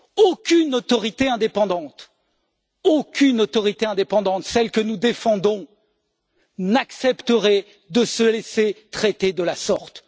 Aucune autorité indépendante, aucune autorité indépendante, celle que nous défendons, n'accepterait de se laisser traiter de la sorte.